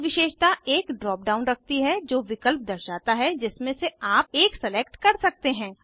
प्रत्येक विशेषता एक ड्राप डाउन रखती है जो विकल्प दर्शाता है जिसमें से आप एक सलेक्ट कर सकते हैं